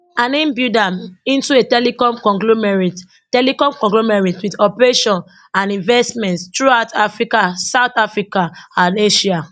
and im build am into a telecom conglomerate telecom conglomerate wit operations and investments throughout africa south america and asia